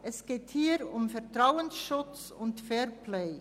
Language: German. Es geht hier um Vertrauen und Fairplay.